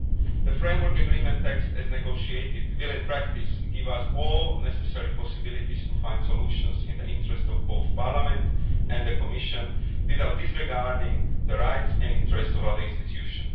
agreement. The framework agreement text as negotiated will, in practice, give us all necessary possibilities to find solutions in the interests of both Parliament and the Commission without disregarding the rights and interests of other institutions.